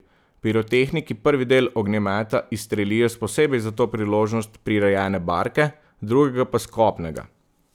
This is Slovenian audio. Pirotehniki prvi del ognjemeta izstrelijo s posebej za to priložnost prirejene barke, drugega pa s kopnega.